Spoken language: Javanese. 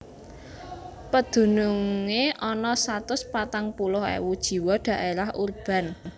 Pedunungé ana satus patang puluh ewu jiwa dhaérah urban